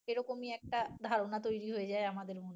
এরকমই একটা ধারণা তৈরি হয়ে যায় আমাদের মনে।